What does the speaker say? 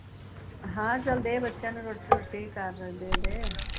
ਚੱਲ ਦੇ ਬੱਚਿਆ ਨੂ ਰੋਟੀ ਰੁਟੀ ਕਰ